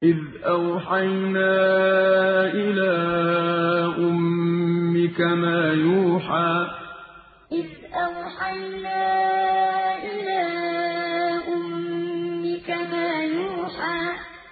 إِذْ أَوْحَيْنَا إِلَىٰ أُمِّكَ مَا يُوحَىٰ إِذْ أَوْحَيْنَا إِلَىٰ أُمِّكَ مَا يُوحَىٰ